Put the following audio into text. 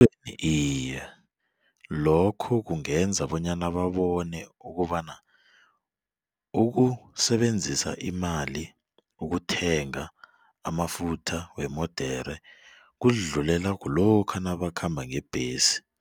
Iye, lokho kungenza bonyana babone ukobana ukusebenzisa imali ukuthenga amafutha wemodere kuzidlulela kulokha nabakhamba ngembhesi.